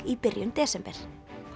í byrjun desember